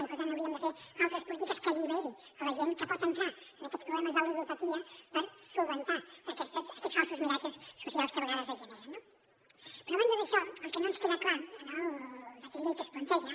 i per tant hauríem de fer altres polítiques que alliberin la gent que pot entrar en aquests problemes de ludopatia per solucionar aquests falsos miratges socials que a vegades es generen no però a banda d’això el que no ens queda clar en el decret llei que es planteja